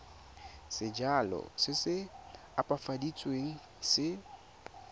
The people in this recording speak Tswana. sejalo se se opafaditsweng se